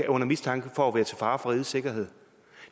under mistanke for at være til fare for rigets sikkerhed